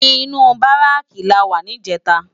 Inú báráki làwá nijètá